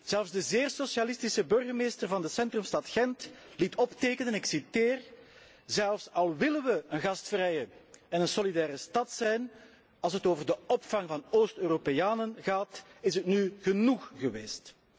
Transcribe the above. Zelfs de zeer socialistische burgemeester van de centrumstad Gent liet optekenen, en ik citeer Zelfs al willen we een gastvrije en een solidaire stad zijn, als het over de opvang van Oost Europeanen gaat, is het nu genoeg geweest.